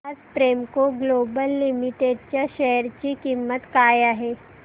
आज Premco Global Limited च्या share ची किंमत काय आहे